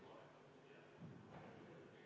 Vaheaeg üheksa minutit.